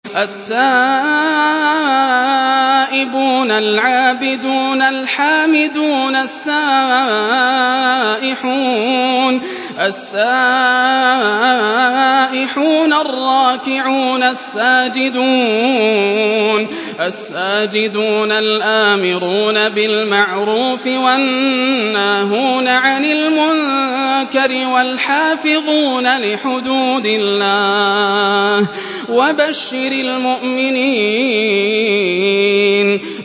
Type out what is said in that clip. التَّائِبُونَ الْعَابِدُونَ الْحَامِدُونَ السَّائِحُونَ الرَّاكِعُونَ السَّاجِدُونَ الْآمِرُونَ بِالْمَعْرُوفِ وَالنَّاهُونَ عَنِ الْمُنكَرِ وَالْحَافِظُونَ لِحُدُودِ اللَّهِ ۗ وَبَشِّرِ الْمُؤْمِنِينَ